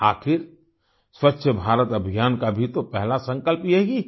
आखिर स्वच्छ भारत अभियान का भी तो पहला संकल्प यही है